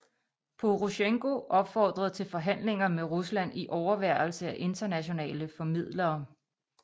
Porosjenko opfordrede til forhandlinger med Rusland i overværelse af internationale formidlere